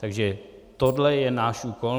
Takže tohle je náš úkol.